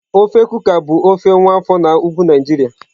Ofe Kuka bụ ofe nwa afọ na Ugwu Naijiria.